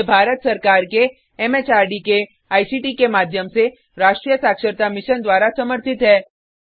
यह भारत सरकार के एमएचआरडी के आईसीटी के माध्यम से राष्ट्रीय साक्षरता मिशन द्वारा समर्थित है